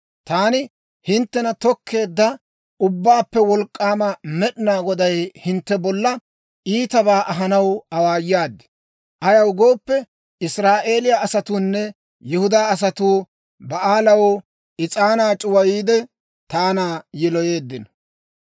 Taani, hinttena tokkeedda Ubbaappe Wolk'k'aama Med'inaa Goday hintte bolla iitabaa ahanaw awaayaad. Ayaw gooppe, Israa'eeliyaa asatuunne Yihudaa asatuu Ba'aalaw is'aanaa c'uwayiide, taana yiloyeeddino.